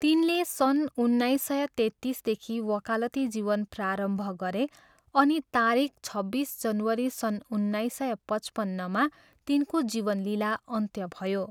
तिनले सन् उन्नाइस सय तेत्तिसदेखि वकालती जीवन प्रारम्भ गरे अनि तारिख छब्बिस जनवरी सन् उन्नाइस सय पचपन्नमा तिनको जीवन लीला अन्त्य भयो।